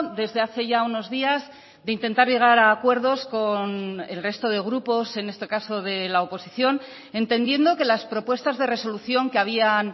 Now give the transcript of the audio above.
desde hace ya unos días de intentar llegar a acuerdos con el resto de grupos en este caso de la oposición entendiendo que las propuestas de resolución que habían